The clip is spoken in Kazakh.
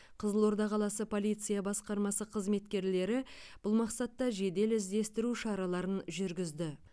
қызылорда қаласы полиция басқармасы қызметкерлері бұл мақсатта жедел іздестіру шараларын жүргізді